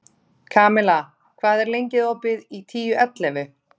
Kamilla, hvað er lengi opið í Tíu ellefu?